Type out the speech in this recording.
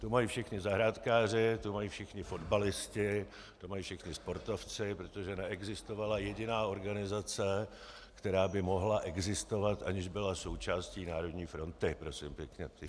Tu mají všichni zahrádkáři, tu mají všichni fotbalisté, tu mají všichni sportovci, protože neexistovala jediná organizace, která by mohla existovat, aniž byla součástí Národní fronty, prosím pěkně.